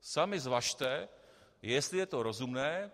Sami zvažte, jestli je to rozumné.